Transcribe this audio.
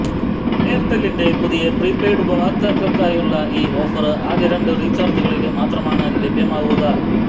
എയര്ടെലിന്റെ പുതിയ പ്രീപെയ്ഡ് ഉപയോക്താക്കള്ക്കായുള്ള ഈ ഓഫര് ആദ്യ രണ്ട് റീച്ചാര്ജുകളില് മാത്രമാണ് ലഭ്യമാവുക